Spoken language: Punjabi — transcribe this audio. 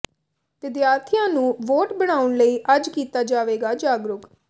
ਵਿਦਿਆਰਥੀਆਂ ਨੂੰ ਵੋਟ ਬਣਾਉਣ ਲਈ ਅੱਜ ਕੀਤਾ ਜਾਵੇਗਾ ਜਾਗਰੂਕ